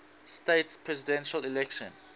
states presidential election